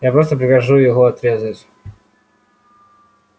я просто прикажу его отрезать